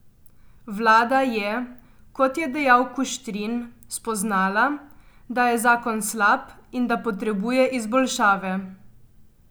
Vlada je, kot je dejal Kuštrin, spoznala, da je zakon slab in da potrebuje izboljšave.